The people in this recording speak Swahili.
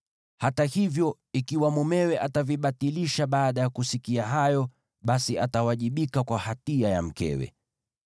Hata hivyo, ikiwa mumewe atavibatilisha baada ya kusikia hayo, basi atawajibika kwa hatia ya mkewe.”